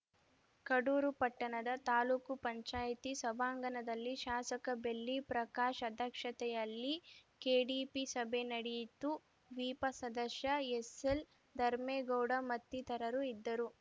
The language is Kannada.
ಕಡೂರು ಪಟ್ಟಣದ ತಾಲೂಕುಪಂಚಾಯತಿ ಸಭಾಂಗಣದಲ್ಲಿ ಶಾಸಕ ಬೆಳ್ಳಿ ಪ್ರಕಾಶ್‌ ಅಧ್ಯಕ್ಷತೆಯಲ್ಲಿ ಕೆಡಿಪಿ ಸಭೆ ನಡೆಯಿತು ವಿಪ ಸದಸ್ಯ ಎಸ್‌ಎಲ್‌ಧರ್ಮೇಗೌಡ ಮತ್ತಿತರರು ಇದ್ದರು